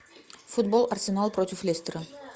футбол арсенал против лестера